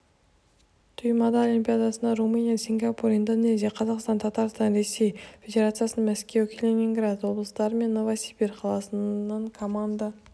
туймаада олимпиадасына румыния сингапур индонезия қазақстан татарстан ресей федерациясының мәскеу калининград облыстары мен новосібір қаласынан команда